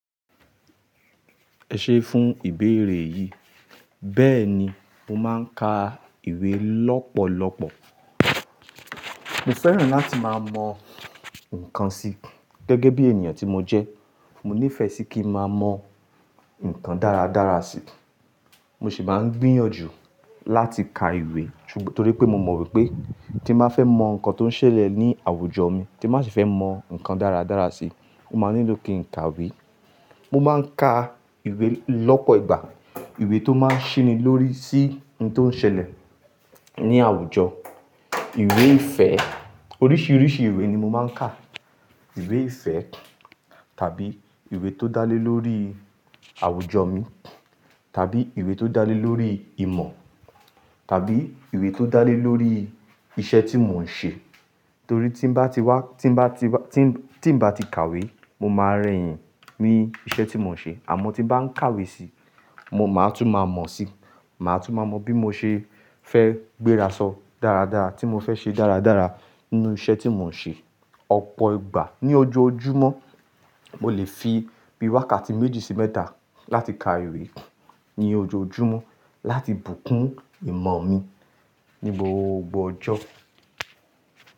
Ẹ ṣé fún ìbéèrè yìí, bẹ́ẹ̀ni mo máa ń ka ìwé lọ́pọ̀lọpọ̀. Mo fẹ́ràn láti máa mọ nǹkan si gẹ́gẹ́ bí ènìyàn tí mo jẹ́. Mo nífẹ̀ẹ́ sí kí n máa mọ nǹkan dára dára si. Mo sì máa ń gbíyànjú láti ka ìwé ṣùgbọ́n torí pé mo mọ wípé tí m ba fẹ́ mọ nǹkan tó ń ṣẹlẹ̀ ní àwùjọ mi, tí m ba sì fẹ́ mọ nǹkan dára dára si, mo máa nílò kí n ka ìwé. Mo máa ń ka ìwé lọ́pọ̀ ìgbà, ìwé tó máa n ṣinilórí sí nǹkan tó ń ṣẹlẹ̀ ní àwùjọ, ìwé ìfẹ́, oríṣiríṣi ìwé ni mo máa ń kà. Ìwé ìfẹ́ tàbí ìwé tó dá lé lórí àwùjọ mi, tàbí ìwé tó dá lé lórí ìmọ̀, tàbí ìwé tó dá lé lórí iṣẹ́ tí mò ń ṣe. Torí tí bá ti wá, tí bá ti wá, tí, tí bá ti kàwé, mo máa rẹ́yìn ní iṣẹ́ tí mò ń ṣe àmọ́ tí bá ń kàwé si, mo máa tún máa mọ̀ si. Màá tún máa mọ bí mo ṣe fẹ́ gbérasọ dáradára, tí mo fẹ́ ṣe dáradára nínú iṣẹ́ tí mò ń ṣe. Ọ̀pọ̀ ìgbà ni ojoojúmọ́, mo lè fi bí wákàtí méjì sí mẹ́ta láti ka ìwé ní ojoojúmọ́ láti bùkún ìmọ̀ mi ní gbogbo ọjọ́.